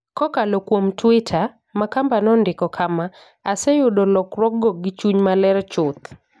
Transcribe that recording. Kokalo kuom Twitter, Makamba nondiko kama: "Aseyudo lokruokgo gi chuny maler chuth.